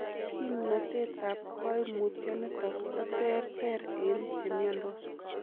Kimnotetab koimutioniton koter ter en chemiondos.